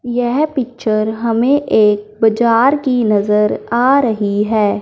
यह पिक्चर हमें एक बजार की नजर आ रही है।